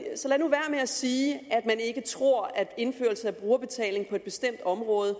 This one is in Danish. at sige at man ikke tror at indførelse af brugerbetaling på et bestemt område